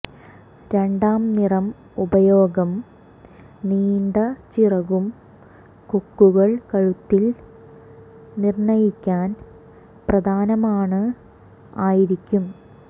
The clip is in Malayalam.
രണ്ടാം നിറം ഉപയോഗം നീണ്ട ചിറകും കൊക്കുകൾ കഴുത്തിൽ നിർണ്ണയിക്കാൻ പ്രധാനമാണ് ആയിരിക്കും